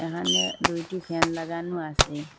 এখানে দুইটি ফ্যান লাগানো আসে।